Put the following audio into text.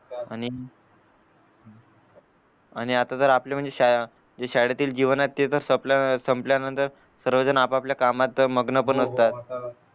आणि आणि आता जर आपले म्हणजे शा शाळेतील जीवन आहे ते तर संपल्या नंतर सर्वेजण आप आपल्या कामात मग्न पण असतात हो हो आता